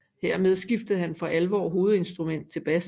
Hermed skiftede han for alvor hovedinstrument til bas